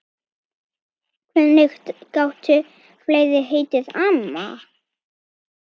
Hvernig gátu fleiri heitið amma?